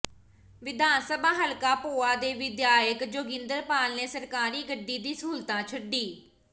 ਵਿਧਾਨਸਭਾ ਹਲਕਾ ਭੋਆ ਦੇ ਵਿਧਾਇਕ ਜੋਗਿੰਦਰਪਾਲ ਨੇ ਸਰਕਾਰੀ ਗੱਡੀ ਦੀ ਸਹੂਲਤ ਛੱਡੀ